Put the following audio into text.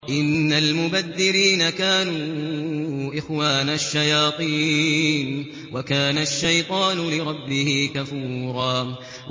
إِنَّ الْمُبَذِّرِينَ كَانُوا إِخْوَانَ الشَّيَاطِينِ ۖ وَكَانَ الشَّيْطَانُ لِرَبِّهِ كَفُورًا